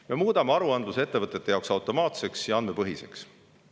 Me muudame aruandluse ettevõtete jaoks automaatseks ja andmepõhiseks.